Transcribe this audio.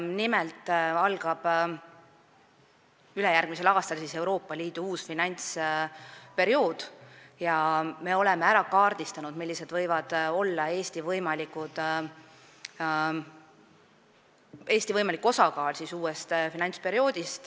Nimelt algab ülejärgmisel aastal Euroopa Liidu uus finantsperiood ja me oleme ära kaardistanud, millised võivad olla sealsed Eesti võimalikud osakaalud.